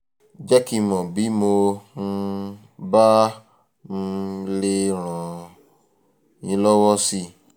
jẹ́ kí n mọ̀ bí mo um bá um lè ràn um yín lọ́wọ́ síwájú sí i